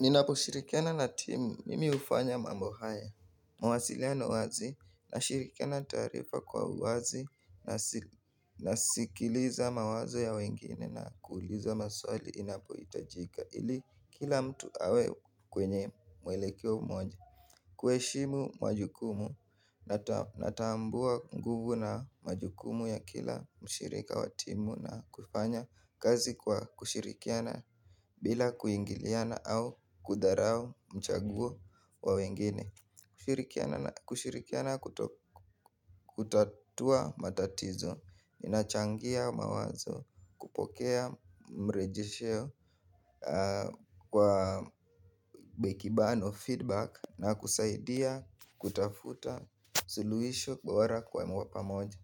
Ninaposhirikiana na timu mimi hufanya mambo haya mawasiliano wazi nashirikiana taarifa kwa uwazi nasikiliza mawazo ya wengine na kuuliza maswali inapohitajika ili kila mtu awe kwenye mwelekeo mmoja kuheshimu majukumu natambua nguvu na majukumu ya kila mshirika wa timu na kufanya kazi kwa kushirikiana bila kuingiliana au kudharau mchaguo wa wengine kushirikiana kutatua matatizo, inachangia mawazo, kupokea mrejesho kwa bekibano feedback na kusaidia kutafuta suluhisho bora kwa pamoja.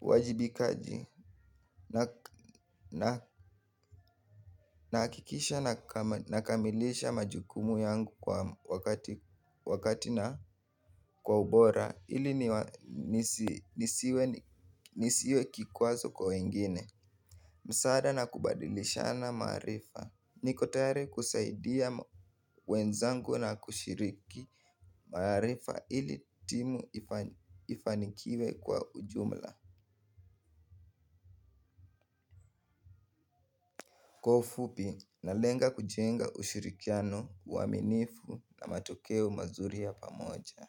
Wajibikaji na hakikisha na kamilisha majukumu yangu kwa wakati na kwa ubora ili nisiwe kikwazo kwa wengine msaada na kubadilishana maarifa niko tayari kusaidia wenzangu na kushiriki maarifa ili timu ifanikiwe kwa ujumla kwa ufupi nalenga kujenga ushirikiano uwaminifu na matokeo mazuri ya pamoja.